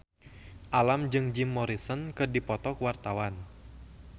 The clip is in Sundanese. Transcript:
Alam jeung Jim Morrison keur dipoto ku wartawan